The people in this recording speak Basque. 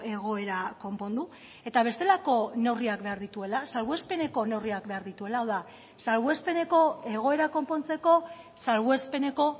egoera konpondu eta bestelako neurriak behar dituela salbuespeneko neurriak behar dituela hau da salbuespeneko egoera konpontzeko salbuespeneko